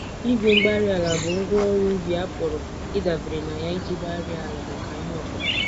Igwe-mgbárí-ala bụ ngwá ọrụ ubi a pụrụ ịdabere na ya iji gbarie àlà maka ihe okụkụ